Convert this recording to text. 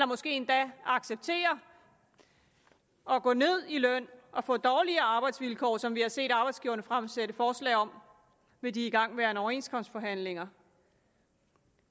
måske endda at acceptere at gå ned i løn og få dårligere arbejdsvilkår som vi har set arbejdsgiverne fremsætte forslag om ved de igangværende overenskomstforhandlinger